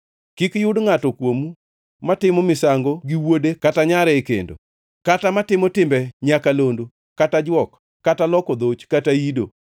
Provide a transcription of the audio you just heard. Kik yud ngʼato kuomu matimo misango gi wuode kata nyare e kendo, kata matimo timbe nyakalondo, kata jwok, kata loko dhoch kata ido,